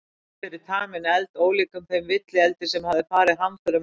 Kofi fyrir taminn eld, ólíkan þeim villieldi sem hafði farið hamförum um heimilið.